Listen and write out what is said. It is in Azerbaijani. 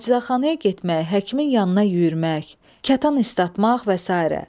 Əczaçxana getmək, həkimin yanına yüyürmək, katan islatmaq və sairə.